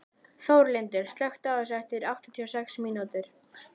Þórlindur, slökktu á þessu eftir áttatíu og sex mínútur.